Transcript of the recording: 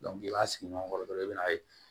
i b'a sigi ɲɔgɔn kɔrɔ dɔrɔn i bɛn'a ye